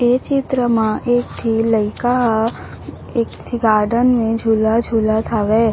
ए चित्र म एक ठी लइका ह एक ठी गार्डन म झूला झूलत हावय ।